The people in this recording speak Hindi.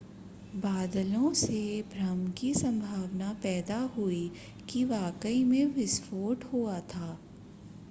बादलों से भ्रम की संभावना पैदा हुई कि वाकई में विस्फोट हुआ था